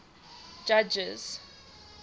judges